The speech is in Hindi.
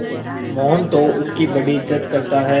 मोहन तो उसकी बड़ी इज्जत करता है